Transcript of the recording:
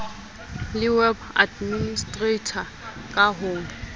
le web administrator ka ho